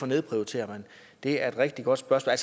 nedprioriterer og det er et rigtig godt spørgsmål